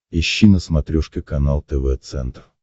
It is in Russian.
ищи на смотрешке канал тв центр